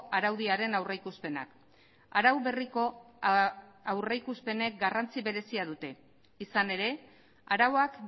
araudiaren aurrikuspenak arau berriko aurrikuspenek garrantzi berezia dute izan ere arauak